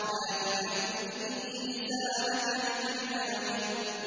لَا تُحَرِّكْ بِهِ لِسَانَكَ لِتَعْجَلَ بِهِ